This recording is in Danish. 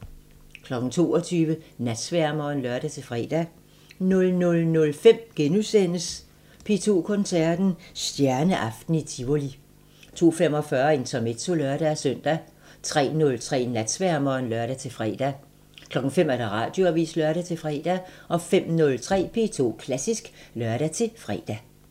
22:00: Natsværmeren (lør-fre) 00:05: P2 Koncerten – Stjerneaften i Tivoli * 02:45: Intermezzo (lør-søn) 03:03: Natsværmeren (lør-fre) 05:00: Radioavisen (lør-fre) 05:03: P2 Klassisk (lør-fre)